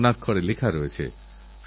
একটি নতুনত্বের আভাস পাওয়া যাচ্ছে